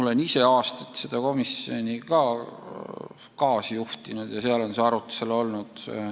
Ma olen ise aastaid seda komisjoni kaasjuhtinud ja seal on see arutusel olnud.